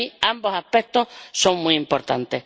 Para mí, ambos aspectos son muy importantes.